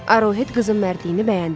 Arohet qızın mərdiyni bəyəndi.